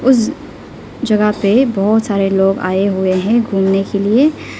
उस जगह पे बहुत सारे लोग आए हुए हैं घूमने के लिए।